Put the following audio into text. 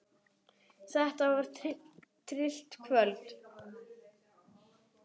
Þetta var tryllt kvöld.